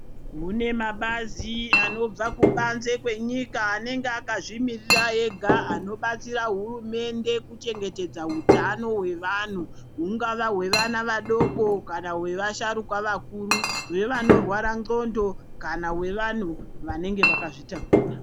Kune mabazi anobva kubanze kwenyika anenge akazvimirira ega anobatsira hurumende kuchengetedza utano hwevanhu hungava hwevana vadoko kana hwevasharuka vakuru hwevanorwara ndxondo kana hwevanhu vanenge vakazvitakura.